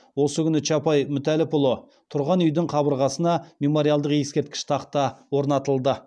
осы күні чапай мүтәлләпұлы тұрған үйдің қабырғасына мемориалдық ескерткіш тақта орнатылды